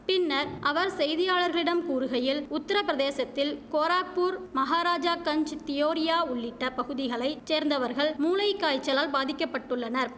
பின்னர் அவர் செய்தியாளர்களிடம் கூறுகையில் உத்திர பிரதேசத்தில் கோராக்பூர் மகாராஜா கஞ்ச் தியோரியா உள்ளிட்ட பகுதிகளை சேர்ந்தவர்கள் மூளைக்காய்ச்சலால் பாதிக்க பட்டுள்ளனர்